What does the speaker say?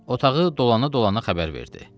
Otağı dolana-dolana xəbər verdi.